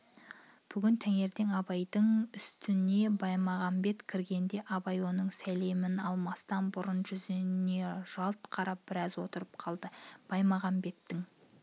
бүгін таңертең абайдың үстіне баймағамбет кіргенде абай оның сәлемін алмастан бұрын жүзіне жалт қарап біраз отырып қалды баймағамбеттің